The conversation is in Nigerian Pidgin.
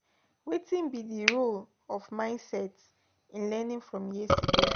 Wetin be di role of mindset in learning from yesterdday?